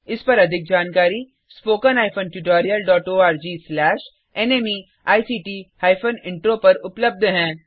इस पर अधिक जानकारी httpspoken tutorialorgNMEICT Intro पर उपलब्ध है